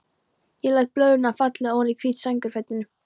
Ég læt blöðrurnar falla oní hvít sængurfötin.